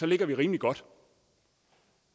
ligger rimelig godt